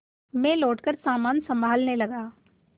मैं लौटकर सामान सँभालने लगा